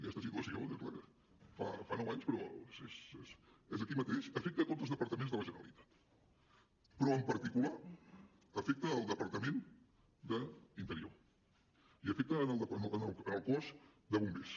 aquesta situació fa nou anys però és aquí mateix afecta tots els departaments de la generalitat però en particular afecta el departament d’interior i afecta el cos de bombers